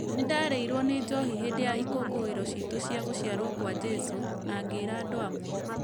Nĩ ndarĩirwo nĩ njohi hĩndĩ ya ikũngũĩro citũ cia gũciarwo kwa Jeso, na ngĩĩra andũ amwe .